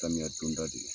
Samiya donda de don